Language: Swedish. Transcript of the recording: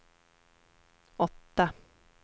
åtta